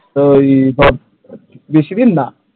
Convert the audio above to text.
তো ওই ধর বেশি দিন না,